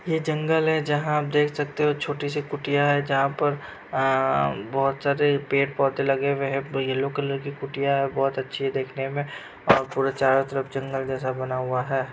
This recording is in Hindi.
ये जंगल है जहाँ आप देख सकते हो छोटी सी कुटिया है जहाँ पर आ आ बहुत सारे पेड़ पौधे लगे हुए है येल्लो कलर की कुटिया बहुत अच्छी लग रही है देखने में और पूरे चारो तरफ जंगल -जंगल बना हुआ है।